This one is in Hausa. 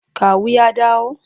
Kawu ya dawo?